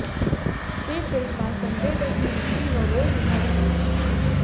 તે ફિલ્મ માં સંજય દત્ત ની દીકરી નો રોલ નિભાવી રહી છે